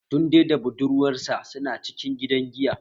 Tunde da budurwar sa su na cikin gida giya